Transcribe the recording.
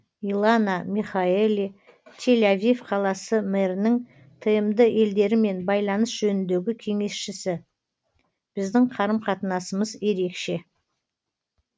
илана михаэли тель авив қаласы мэрінің тмд елдерімен байланыс жөніндегі кеңесшісі біздің қарым қатынасымыз ерекше